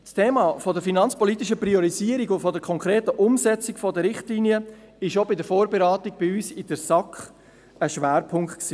Das Thema der finanzpolitischen Priorisierung und der konkreten Umsetzung der Richtlinien war auch bei der Vorberatung bei uns in der SAK ein Schwerpunkt.